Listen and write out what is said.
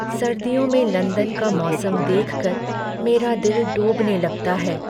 सर्दियों में लंदन का मौसम देख कर मेरा दिल डूबने लगता है।